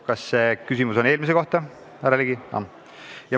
Kas teie küsimus on eelmise ettepaneku kohta, härra Ligi?